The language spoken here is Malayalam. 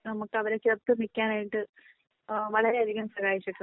നമുക്ക് അവരെ ചേർത്ത് പിടിക്കാനായിട്ട് ഏഹ് വളരെ അധികം സഹായിച്ചിട്ടുണ്ട്.